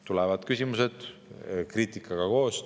Tulevad küsimused kriitikaga koos.